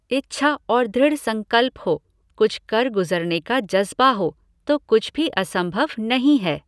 इच्छा और दृढ़ संकल्प हो, कुछ कर गुजरने का जज़्बा हो, तो कुछ भी असंभव नहीं है।